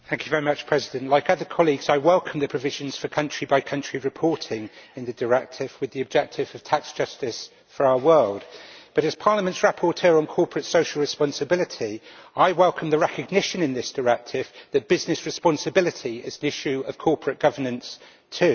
Mr President, like other colleagues, I welcome the provisions for country by country reporting in the directive with the objective of tax justice for our world, but as Parliament's rapporteur on corporate social responsibility, I welcome the recognition in this directive that business responsibility is an issue of corporate governance too.